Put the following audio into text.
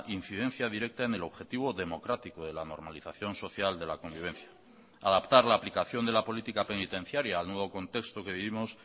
incidencia directa en el objetivo democrático de la normalización social de la convivencia adaptar la aplicación de la política penitenciaria al nuevo contexto que vivimos